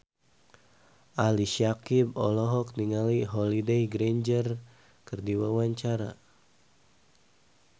Ali Syakieb olohok ningali Holliday Grainger keur diwawancara